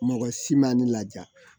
Mɔgɔ si ma ne laja